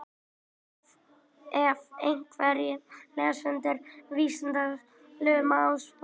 ef einhverjir lesendur vísindavefsins luma á svarinu